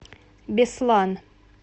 беслан